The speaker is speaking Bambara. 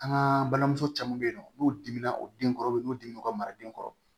An ka balimamuso caman bɛ yen nɔ n'u dimina o den kɔrɔbin'u dimi ka mara den kɔrɔ